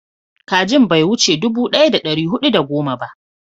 kajin bai wuce dubu daya da dari hudu da goma ba